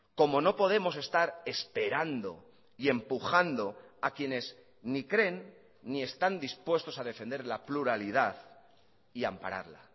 como no podemos estar esperando y empujando a quienes ni creen ni están dispuestos a defender la pluralidad y ampararla